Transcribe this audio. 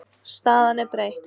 Staðan er breytt.